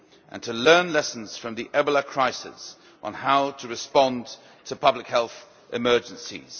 and to learn lessons from the Ebola crisis on how to respond to public health emergencies.